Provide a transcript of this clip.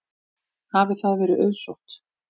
Hafi það verið auðsótt.